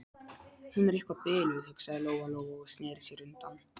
Hún er eitthvað biluð, hugsaði Lóa Lóa og sneri sér undan.